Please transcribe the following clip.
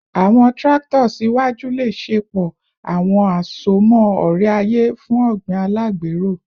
Awọn tractors iwaju le ṣepọ awọn asomọ ore-aye fun ogbin alagbero